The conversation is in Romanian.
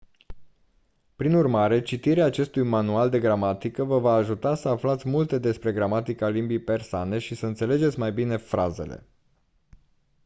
prin urmare citirea acestui manual de gramatică vă va ajuta să aflați multe despre gramatica limbii persane și să înțelegeți mai bine frazele